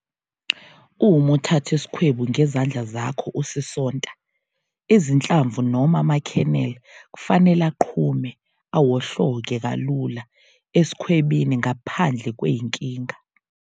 Uma uthatha isikhwebu ngezandla zakho usisonta, izinhlamvu noma ama-kernel kufanele aqhume awohloke kalula esikhwebini ngaphandle kwenkinga.